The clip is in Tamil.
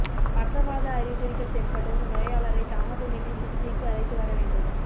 பக்கவாத அறிகுறிகள் தென்பட்டதும் நோயாளரை தாமதமின்றி சிகிச்சைக்கு அழைத்து வர வேண்டும்